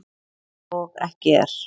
Og ekki er